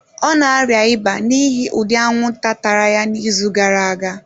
Ọ na-arịa ịba n'ihi ụdị anwụnta tara ya n'izu gara aga.